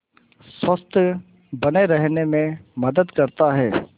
स्वस्थ्य बने रहने में मदद करता है